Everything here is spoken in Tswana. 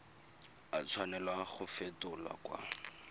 a tshwanela go fetolwa kwa